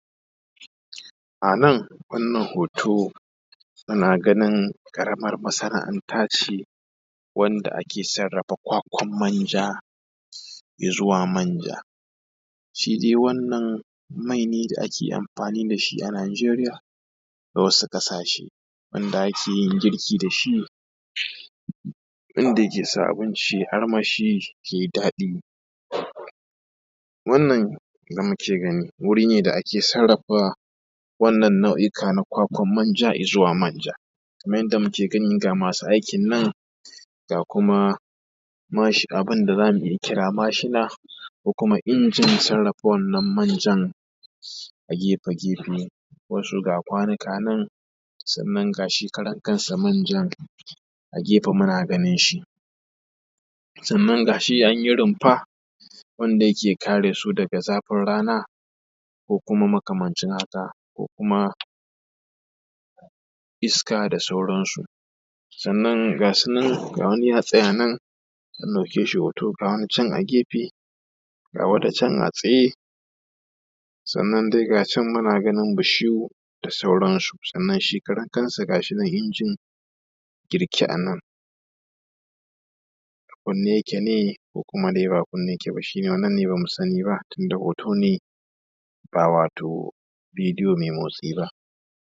a nan wannan hoto ana ganin ƙaramin masana’ata ce wanda a ke sarrafa kwakwan manja i zuwa manja shi dai wannan mai ne da ake amfani da shi a najeriya da wasu kasashe wanda ake yin girki da shi wanda yake sa abinci yai armashi yai daɗi wannan da muke gani wuri ne da ake sarrafa wannan nau’ika na kwakwan manja i zuwa manja kamar yadda mu ke gani ga masu aikin nan ga kuma abinda zan kira mashina ko kuma injin sarrafa wannan manjan a gefe gefen wato ga kwanuka nan sannan ga shi karan kanshi manjan a gefen muna ganinshi sannan ga shi an yi rumfa wanda yake kare su daga zafin rana ko kuma makamancin haka ko kuma iska da sauransu sannan ga wani ya tsaya nan an ɗauke shi hoto ga wani can a gefe ga wata can a tsaye sannan dai ga can mu na ganin bishiyu da sauran su sannan shi karan kan shi ga shi nan injin girke a nan a kunne yake ne ko ko ba a kunne yake ba shine wannan ne ba mu sani ba tunda hoto ne ba wato bidiyo mai motsi ba